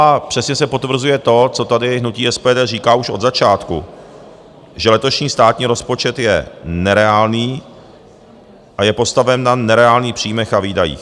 A přesně se potvrzuje to, co tady hnutí SPD říká už od začátku, že letošní státní rozpočet je nereálný a je postaven na nereálný příjmech a výdajích.